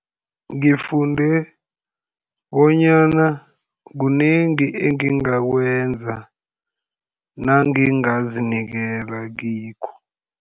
Ngifunde bonyana kunengi engingakwenza nangingazinikela kikho.